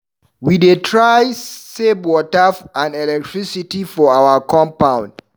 We dey try save water and electricity for our compound.